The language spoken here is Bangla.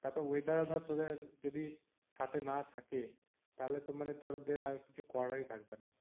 তারপরে weather ও ধর তোদের যদি সাথে না থাকে তাহলে তো মানে তোদের আর কিছু করারই থাকবে না।